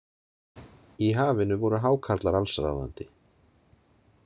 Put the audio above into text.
Í hafinu voru hákarlar allsráðandi.